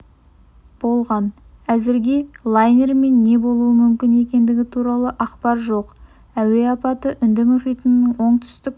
болған әзірге лайнермен не болуы мүмкін екендігі туралы ақпар жоқ әуе апаты үнді мұхитының оңтүстік